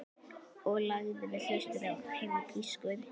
Ég lagði við hlustir og heyrði pískur.